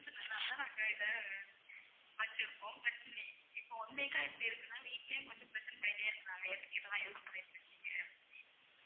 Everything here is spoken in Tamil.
சொன்னதுனாலதான் நாங்க இதை வச்சிருக்கோம் வச்சு~ நீ இப்போ one week இப்படி இருக்குன்னா வீட்டிலேயும் கொஞ்சம் பிரச்சனை பண்ணிட்டே இருக்கிறாங்க எதுக்கு இதுல use பண்ணிட்டுருக்கீங்க அப்படினு